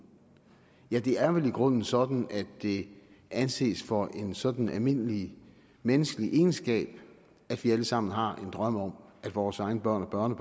ja det er vel i grunden sådan at det anses for en sådan almindelig menneskelig egenskab at vi alle sammen har en drøm om at vores egne børn og